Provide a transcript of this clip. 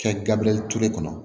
Kɛ gabiriyɛli ture kɔnɔ